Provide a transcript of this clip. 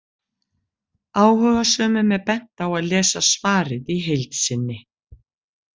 Áhugasömum er bent á að lesa svarið í heild sinni.